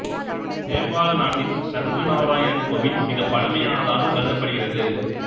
நேபாள நாட்டில் சங்கு நாராயணன் கோயில் மிகப் பழமையானதாக கருதப்படுகிறது